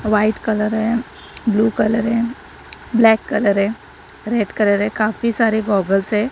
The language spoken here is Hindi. व्हाइट कलर है ब्लू कलर है ब्लैक कलर है रेड कलर काफी सारे गॉगल्स है।